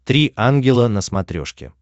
три ангела на смотрешке